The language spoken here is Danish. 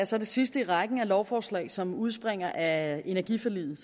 så det sidste i rækken af lovforslag som udspringer af energiforliget